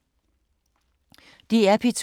DR P2